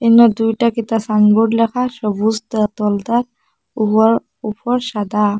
উনা দুইটা কিতা সাইনবোর্ড লেখা সবুজ তাতোলতা উয়ার উপর সাদা।